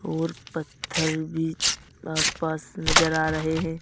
और पत्थर भी आसपास नजर आ रहे हैं।